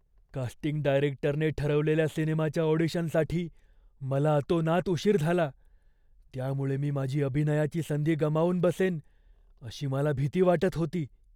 Casting डायरेक्टरने ठरवलेल्या सिनेमाच्या ऑडिशनसाठी मला अतोनात उशीर झाला, त्यामुळे मी माझी अभिनयाची संधी गमावून बसेन अशी मला भीती वाटत होती.